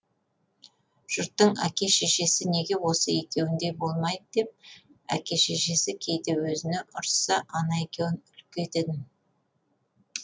жұрттың әке шешесі неге осы екеуіндей болмайды деп әке шешесі кейде өзіне ұрысса ана екеуін үлгі ететін